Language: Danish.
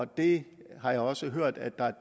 det har jeg også hørt at et